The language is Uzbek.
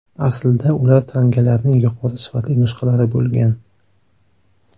Aslida ular tangalarning yuqori sifatli nusxalari bo‘lgan.